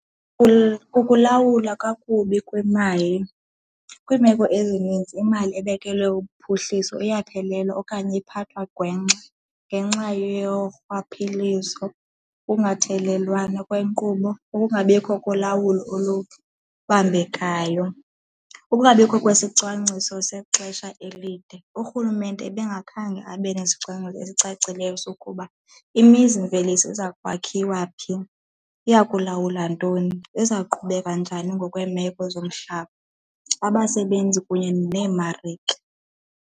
Kukulawula kakubi kwemali. Kwiimeko ezininzi imali ebekelwe uphuhliso iyaphelelwa okanye iphathwa gwengxa ngenxa yorhwaphilizo, ukungathelelwana kwenkqubo, ukungabikho kolawulo olubambekayo, ukungabikho kwesicwangciso sexesha elide. Urhulumente ebengakhange abe nesicwangciso esicacileyo sokuba imizimveliso iza kwakhiwa phi, iya kulawula ntoni, ezawuqhubeka njani ngokweemeko zomhlaba, abasebenzi kunye neemarike.